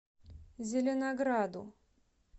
зеленограду